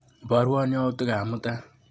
Ibarwa yautikap mutai.